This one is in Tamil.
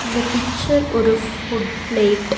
இந்த பிச்சர் ஒரு ஃபுட் பிளேட் .